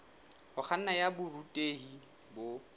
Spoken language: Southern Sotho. ho kganna ya borutehi bo